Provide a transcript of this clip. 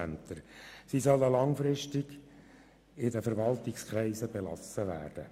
Diese sollen langfristig in den Verwaltungskreisen belassen werden.